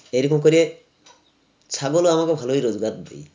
এরকম করে ছাগল ও আমাকে ভালোই রোজগার দেয়